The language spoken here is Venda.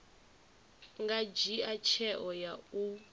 nga dzhia tsheo ya u